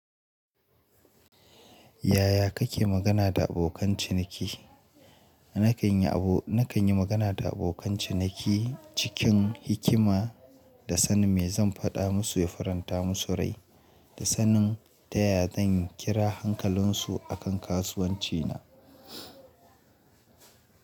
Yaya kake magana da abokan ciniki? Nakan yi abu, nakan yi magana da abokan ciniki cikin hikima da sani me zan faɗa musu ya faranta musu rai, da sanin ta yaya zan kira hankalinsu a kan kasuwanci na.